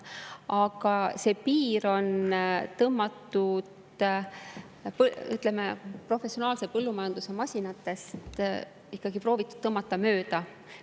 Aga see piir on professionaalsetest põllumajandusmasinatest ikkagi proovitud mööda tõmmata.